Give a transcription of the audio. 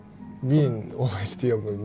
мен олай істей алмаймын